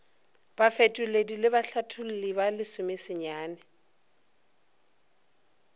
bafetoledi le bahlatholli ba lesomesenyane